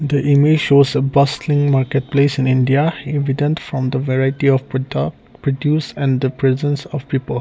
the image shows a bustling market place in india evident from the variety of product produce and the presence of people.